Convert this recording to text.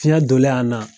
Fiɲɛ donlen a na